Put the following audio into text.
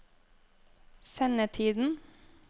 sendetiden